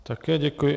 Také děkuji.